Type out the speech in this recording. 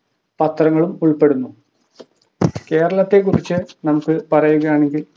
പത്രങ്ങളും ഉൾപ്പെടുന്നു കേരളത്തെ കുറിച് നമുക്ക് പറയുകയാണെങ്കിൽ